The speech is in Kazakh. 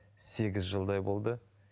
сегіз жылдай болды